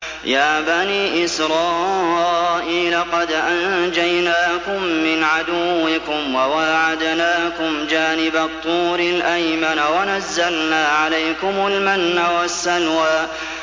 يَا بَنِي إِسْرَائِيلَ قَدْ أَنجَيْنَاكُم مِّنْ عَدُوِّكُمْ وَوَاعَدْنَاكُمْ جَانِبَ الطُّورِ الْأَيْمَنَ وَنَزَّلْنَا عَلَيْكُمُ الْمَنَّ وَالسَّلْوَىٰ